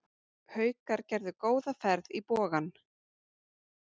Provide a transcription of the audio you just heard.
Haukar gerðu góða ferð í Bogann